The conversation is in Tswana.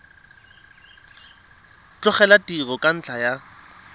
tlogela tiro ka ntlha ya